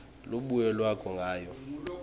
lubuye lwakhe ngayo